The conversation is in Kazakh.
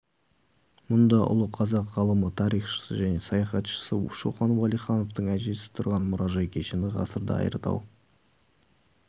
мұнда ұлы қазақ ғалымы тарихшысы және саяхатшысы шоқан уәлихановтың әжесі тұрған мұражай кешені ғасырда айыртау